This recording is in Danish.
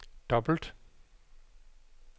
dobbelt